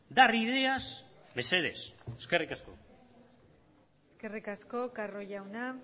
dar ideas mesedez eskerrik asko eskerrik asko carro jauna